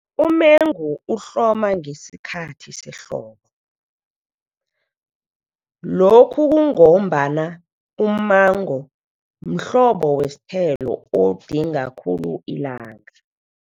Umengu uhloma ngesikhathi sehlobo, lokhu kungombana umengu mhlobo wesithelo odinga khulu ilanga.